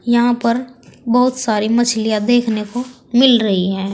यहां पर बहुत सारी मछलियां देखने को मिल रही हैं।